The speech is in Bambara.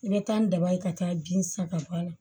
I bɛ taa ni daba ye ka taa bin saga ka bɔ a la